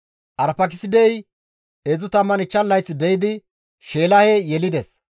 Arfaakisidey 35 layth de7idi Sheelahe yelides;